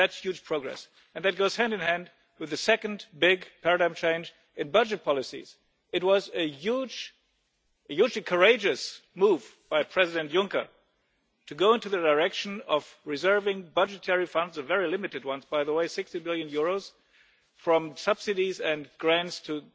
That's huge progress and it goes hand in hand with the second big paradigm change in budget policies. It was a hugely courageous move by President Juncker to go in the direction of reserving budgetary funds very limited ones, by the way EUR 60 billion from subsidies and grants to